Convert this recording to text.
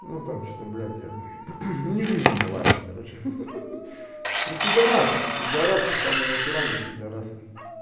ну там что-то блять это не жизненно важно короче ну п п самый натуральный п